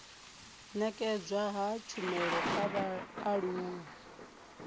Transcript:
nekedzwa ha tshumelo kha vhaaluwa